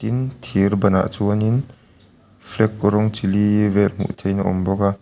thir ban ah chuan in flag rawng chi li vel hmuh thei in a awm bawk a.